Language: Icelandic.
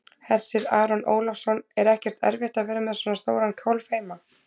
Hersir Aron Ólafsson: Er ekkert erfitt að vera með svona stóran kálf heima?